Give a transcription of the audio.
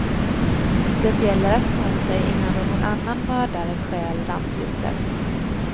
Det gäller att sno sig innan någon annan mördare stjäl rampljuset.